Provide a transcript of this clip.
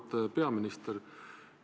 Auväärt peaminister!